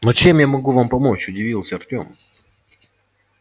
но чем я могу вам помочь удивился артём